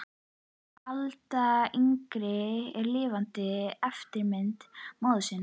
Alda yngri er lifandi eftirmynd móður sinnar.